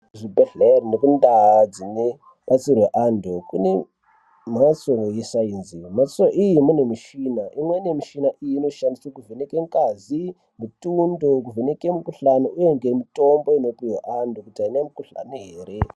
Kuzvibhedhlere nekundaa dzinebatsirwa antu kune mhatso yesainzi. Mhatso iyine mune michina imweni yemishina iyi inoshandiswa kuvheneke ngazi, mutundo kuvheneke mukuhlani, uye ngemutombo inopuhwe antu kuti haana mukuhlani ere.